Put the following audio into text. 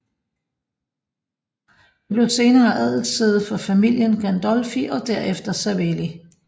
Det blev senere adelssæde for familien Gandolfi og derefter Savelli